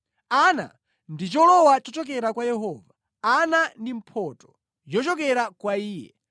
Ana ndiye cholowa chochokera kwa Yehova, ana ndi mphotho yochokera kwa Iye.